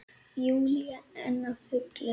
Júlía enn á fullu.